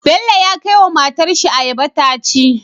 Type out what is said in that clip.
Bello ya kai wa matar shi ayaba taci